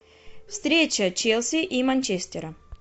встреча челси и манчестера